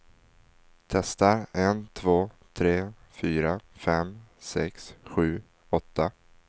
Testar en två tre fyra fem sex sju åtta.